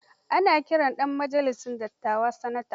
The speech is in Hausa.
Ana kiran ɗan majalisar dattawa sanata.